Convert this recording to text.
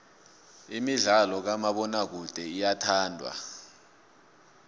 imidlalo kamabonakude iyathandwa